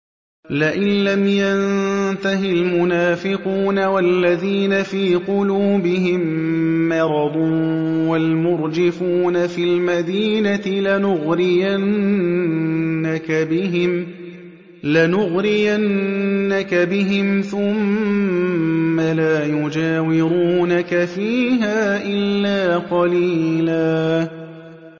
۞ لَّئِن لَّمْ يَنتَهِ الْمُنَافِقُونَ وَالَّذِينَ فِي قُلُوبِهِم مَّرَضٌ وَالْمُرْجِفُونَ فِي الْمَدِينَةِ لَنُغْرِيَنَّكَ بِهِمْ ثُمَّ لَا يُجَاوِرُونَكَ فِيهَا إِلَّا قَلِيلًا